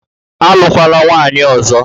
Alụkwala nwaanyị ọzọ